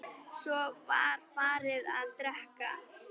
Svo var farið að drekka.